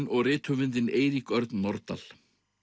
og rithöfundinn Eirík Örn Norðdahl